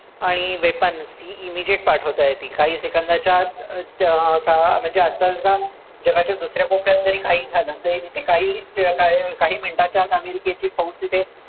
आणि weapons ही immediate पाठवता येतील. काही seconds च्या आत ज म म्हणजे आत्ता जर का दुसऱ्या कोपऱ्यात जरी काही झालं, तरी तिथे काही का काही minutes च्या आत अमेरिकेची फौज तिथे